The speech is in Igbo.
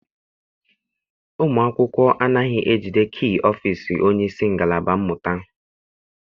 Ụmụ akwụkwọ anaghị ejide kii ọfịịsi onyeisi ngalaba mmụta.